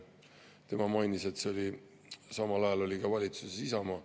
Tema mainis, et samal ajal oli valitsuses Isamaa.